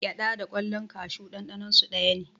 Gyaɗa da ƙwallan kashu ɗanɗaninsu daya ne.